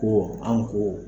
Ko anw ko